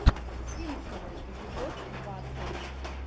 симпсоны эпизод двадцать